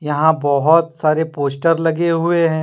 यहीं बहुत सारे पोस्टर लगे हुवे है।